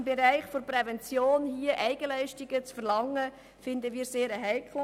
Im Bereich der Prävention Eigenleistungen zu verlangen, finden wir sehr heikel.